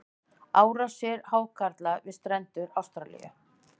árásir hákarla við strendur ástralíu